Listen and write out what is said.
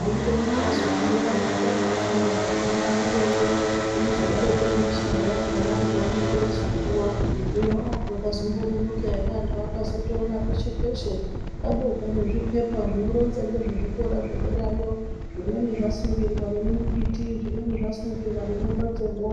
anode kuti azobhuira antu nezvekufunda kugume derayo zvinozodaroko nemishando yakhona antu anonga eizopuwa hino zvakazombononoka ere anhu akazoona peshe-peshe pabekwa zvipepa zvinoronza ngezvezvikira zvederayo zvimweni zvasungirwa nemumbiti zvimweni zvasungirwa nemumbatsomwo.